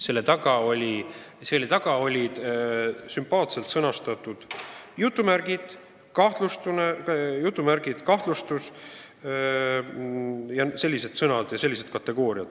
Selle taga on sellised kategooriad nagu "kahtlustus" jms.